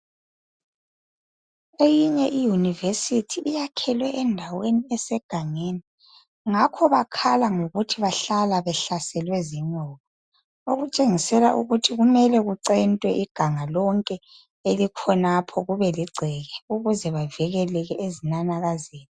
Eyinye iYunivesithi iyakhelwe endaweni esegangeni ngakho bakhala ngokuthi bahlala behlaselwe zinyoka. Okutshengisela ukuthi kumele kucentwe iganga lonke elikhonapho kube ligceke ukuze bavikeleke ezinanakazeni.